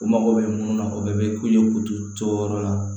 U mago bɛ mun na o bɛ kule k'u to yɔrɔ la